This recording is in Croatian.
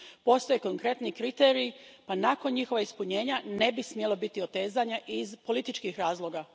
Postoje konkretni kriteriji, pa nakon njihova ispunjenja ne bi smjelo biti otezanja iz političkih razloga.